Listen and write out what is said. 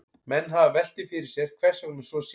Menn hafa velt því fyrir sér hvers vegna svo sé.